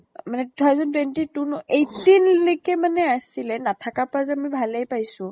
অ মানে two thousand twenty two ন eighteen মানে আছিলে । নাথাকা পা যে মই ভালে পাইছো